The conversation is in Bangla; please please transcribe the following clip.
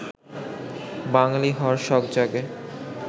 বাঙালি হওয়ার শখ জাগে